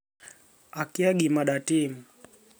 Akia gima datim".